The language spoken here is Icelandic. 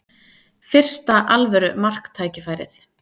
Fyrsta alvöru marktækifærið